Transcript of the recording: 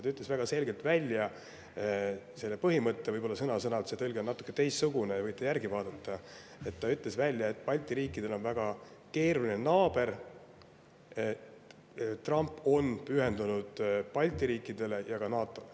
Ta ütles väga selgelt välja selle põhimõtte – see tõlge võib olla natukene teistsugune, te võite ise järele vaadata –, et Balti riikidel on väga keeruline naaber ning et ta on pühendunud Balti riikidele ja ka NATO‑le.